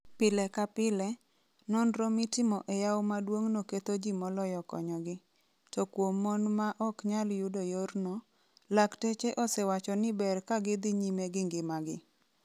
Pile ka pile, nonro mitimo e yawo maduong'no 'ketho ji moloyo konyogi' To kuom mon ma ok nyal yudo yorno, lakteche osewacho ni ber ka gidhi nyime gi ngimagi.